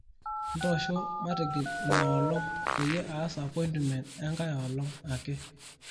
ntosho matigil ina olong peyie aas appointmement enkae olong ake